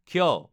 ক্ষ